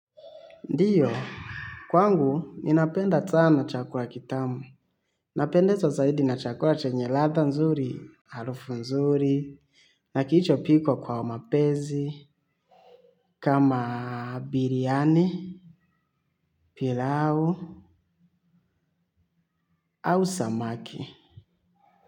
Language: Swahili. Ndiyo, kwangu ninapenda sana chakura kitamu. Napendezwa zaidi na chakura chenye latha nzuri, arufu nzuri, na kiicho pikwa kwa mapezi, kama biryani, pilau, au samaki.